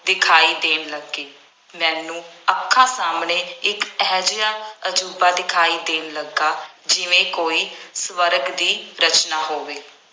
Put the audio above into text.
ਦਿਖਾਈ ਦੇਣ ਲੱਗੀ। ਮੈਨੂੰ ਅੱਖਾਂ ਸਾਹਮਣੇ ਇੱਕ ਇਹੋ ਜਿਹਾ ਅਜੂਬਾ ਦਿਖਾਈ ਦੇਣ ਲੱਗਾ ਜਿਵੇਂ ਕੋਈ ਸਵਰਗ ਦੀ ਰਚਨਾ ਹੋਵੇ।